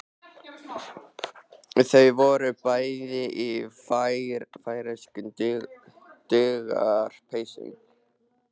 Þau voru bæði í færeyskum duggarapeysum.